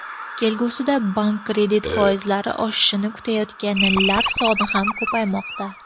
Kelgusida bank kredit foizlari oshishini kutayotganlar soni ham ko‘paymoqda.